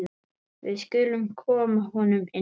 Við skulum koma honum inn!